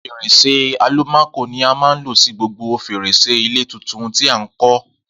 Fèrèsé àlùmákò ni a máa lo sí gbogbo fèrèsé ilé tuntun tí à ń kọ́